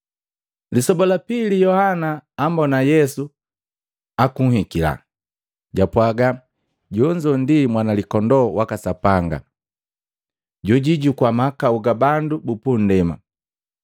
Lisoba la pili Yohana ambona Yesu akuhikila, japwaga, “Linga lende ndi, Mwana Likondoo waka Sapanga, jojuijukua mahakau ga bandu bupundema!